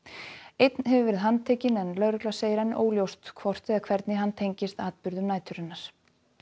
einn hefur verið handtekinn en lögregla segir enn óljóst hvort eða hvernig hann tengist atburðum næturinnar